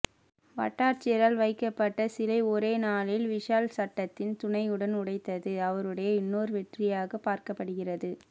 வட்டாட்சியரால் வைக்கப்பட்ட சீலை ஒரே நாளில் விஷால் சட்டத்தின் துணையுடன் உடைத்தது அவருடைய இன்னொரு வெற்றியாக பார்க்கப்படுகிறது